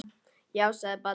Já, sagði barnið.